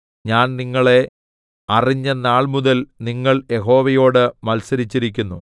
ഞാൻ നിങ്ങളെ അറിഞ്ഞ നാൾമുതൽ നിങ്ങൾ യഹോവയോട് മത്സരിച്ചിരിക്കുന്നു